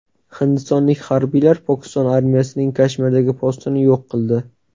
Hindistonlik harbiylar Pokiston armiyasining Kashmirdagi postini yo‘q qildi.